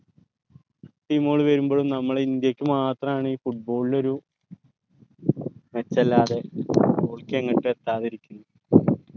team കൾ വരുമ്പോളും നമ്മളെ ഇന്ത്യക്ക് മാത്രാണ് ഈ football ഒരു മെച്ചെല്ലാതെ എങ്ങട്ടു എത്താതെഇരിക്ക്ന്നേ